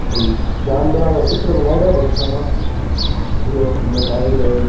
कोई जानवरा का चित्र बनायेडा है बच्चा का बढ़िया सुन्दर लाग रिया है।